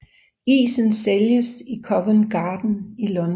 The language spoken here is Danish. Isen sælges i Covent Garden i London